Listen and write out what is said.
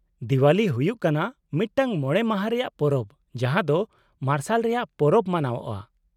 -ᱫᱮᱣᱟᱞᱤ ᱦᱩᱭᱩᱜ ᱠᱟᱱᱟ ᱢᱤᱫᱴᱟᱝ ᱢᱚᱬᱮ ᱢᱟᱦᱟ ᱨᱮᱭᱟᱜ ᱯᱚᱨᱚᱵ ᱡᱟᱦᱟᱸ ᱫᱚ ᱢᱟᱨᱥᱟᱞ ᱨᱮᱭᱟᱜ ᱯᱚᱨᱚᱵ ᱢᱟᱱᱟᱣᱚᱜᱼᱟ ᱾